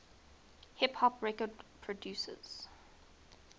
hip hop record producers